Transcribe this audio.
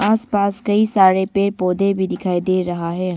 आसपास कई सारे पेड़ पौधे भी दिखाई दे रहा है।